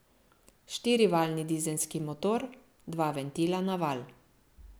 Štirivaljni dizelski motor, dva ventila na valj.